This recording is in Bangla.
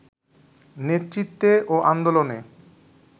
নেতৃত্বে ও আন্দোলনে